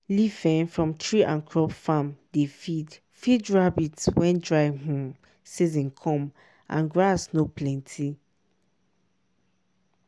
leaf um from tree and crop farm dey feed feed rabbit when dry um season come and grass no plenty.